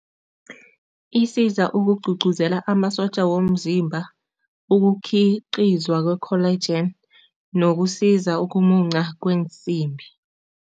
Isiza ukugcugcuzela amasotja womzimba, ukukhiqizwa kwe-collagen nokusiza ukumunca kweensimbi.